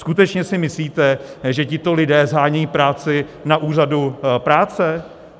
Skutečně si myslíte, že tito lidé shánějí práci na úřadu práce?